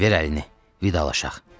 Vidalaşaq, vidalaşaq.